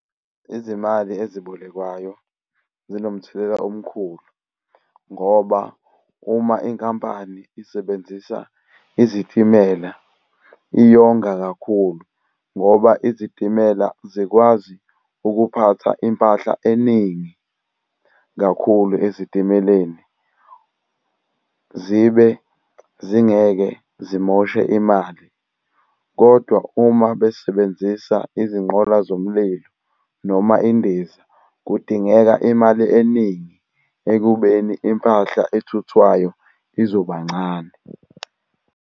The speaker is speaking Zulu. Izimali ezibolekwayo zinomthelela omkhulu, ngoba uma inkampani isebenzisa izitimela iyonga kakhulu. Ngoba izitimela zikwazi ukuphatha impahla eningi kakhulu ezitimeleni zibe zingeke zimoshe imali. Kodwa, uma besebenzisa izinqola zomlilo noma indiza, kudingeka imali eningi ekubeni impahla ethuthwayo izoba ncane.